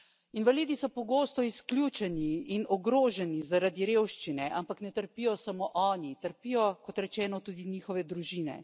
Invalidi so pogosto izključeni in ogroženi zaradi revščine, ampak ne trpijo samo oni, trpijo kot rečeno tudi njihove družine.